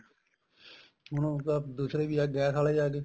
ਹੁਣ ਉਹ ਦੂਸਰੇ ਵੀ ਆ ਗੈਸ ਆਲੇ ਆਗੇ